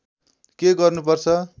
के गर्नु पर्छ